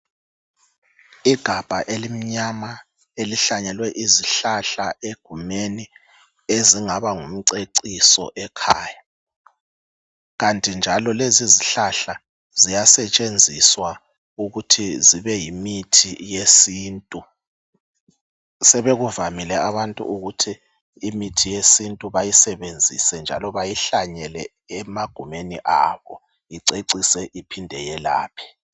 igabha elimnyama elihlanyelwe izihlahla egumeni ezingaba ngumceciso ekhaya kanti njalo lezi izihlahla ziyasetshenziswa ukuthi zibe yimithi yesintu sebevamile abantu ukuthi bahlanyele imithi yesintu bececise ngayo engagumeni abo.